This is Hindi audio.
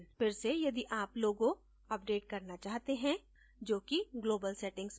फिर से यदि आप logo अपडेट करना चाहते हैं जो कि global settings में है